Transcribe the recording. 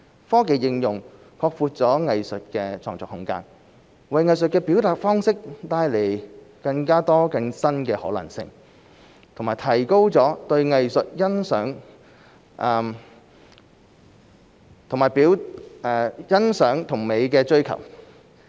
科技應用擴闊了藝術的創作空間，為藝術的表達方式帶來更多、更新的可能性，並提高了對藝術欣賞及美的追求。